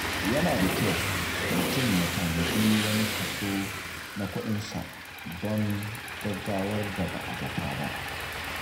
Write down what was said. Yana da kyau mutum ya tanadi wani kaso na kuɗinsa don gaggawar da ba a zata ba.